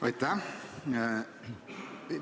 Aitäh!